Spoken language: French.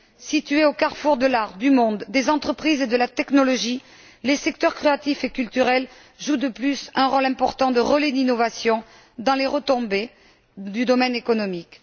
Situés au carrefour de l'art, du monde, des entreprises et de la technologie, les secteurs créatifs et culturels jouent de plus un rôle important de relais d'innovation et ont des retombées dans le domaine économique.